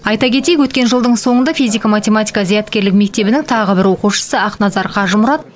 айта кетейік өткен жылдың соңында физика математика зияткерлік мектебінің тағы бір оқушысы ақназар қажымұрат